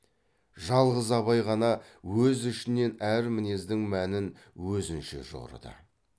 жалғыз абай ғана өз ішінен әр мінездің мәнін өзінше жорыды